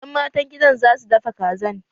Ƴan matan gidan za su dafa Kazan